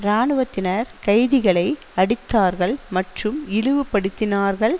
இராணுவத்தினர் கைதிகளை அடித்தார்கள் மற்றும் இழிவுபடுத்தினார்கள்